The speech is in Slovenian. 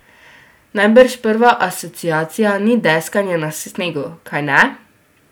Najbrž prva asociacija ni deskanje na snegu, kajne?